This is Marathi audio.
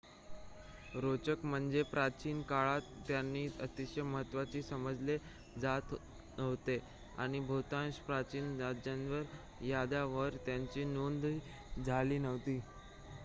रोचक म्हणजे प्राचीन काळात त्यांना अतिशय महत्वाचे समजले जात नव्हते आणि बहुतांश प्राचीन राजांच्या याद्यांवर त्यांची नोंद झालेली नव्हती